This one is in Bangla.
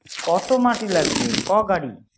কত মাটি লাগবে। ক গাড়ি